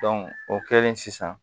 o kɛlen sisan